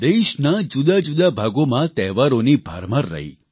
દેશના જુદાજુદા ભાગોમાં તહેવારોની ભરમાર રહી